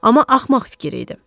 Amma axmaq fikir idi.